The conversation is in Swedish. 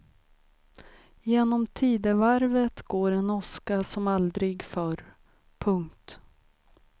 Genom tidevarvet går en åska som aldrig förr. punkt